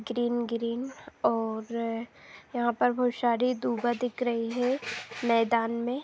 Green green और यहाँ पर बहुत शारी दुबा दिख रही हे मैदान में ।